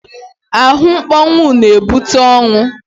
Ahụmkpọnwụ na-ebute ọnwụ.